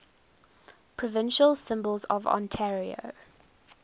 provincial symbols of ontario